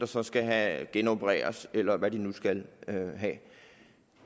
så skal genopereres eller hvad de nu skal